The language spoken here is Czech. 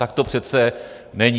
Tak to přece není.